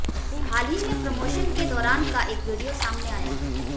हाल ही में प्रमोशन के दौरान का एक वीडियो सामने आया है